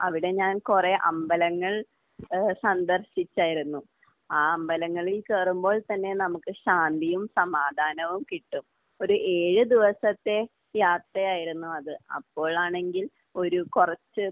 അവിടെ ഞാൻ കുറെ അമ്പലങ്ങൾ ഏഹ് സന്ദർശിച്ചായിരുന്നു. ആ അമ്പലങ്ങളിൽ കയറുമ്പോൾ തന്നെ നമുക്ക് ശാന്തിയും സമാധാനവും കിട്ടും. ഒരു ഏഴ് ദിവസത്തെ യാത്രയായിരുന്നു അത്. അപ്പോഴാണെങ്കിൽ ഒരു കുറച്ച്